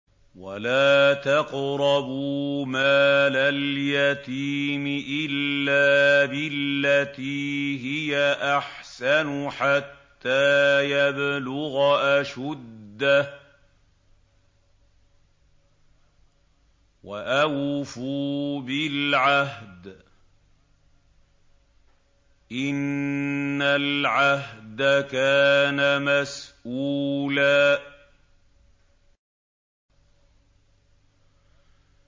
وَلَا تَقْرَبُوا مَالَ الْيَتِيمِ إِلَّا بِالَّتِي هِيَ أَحْسَنُ حَتَّىٰ يَبْلُغَ أَشُدَّهُ ۚ وَأَوْفُوا بِالْعَهْدِ ۖ إِنَّ الْعَهْدَ كَانَ مَسْئُولًا